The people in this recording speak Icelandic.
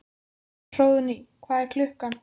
Hróðný, hvað er klukkan?